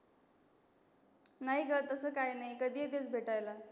नाही ग तसं काही नाही कधी येतेस भेटायला.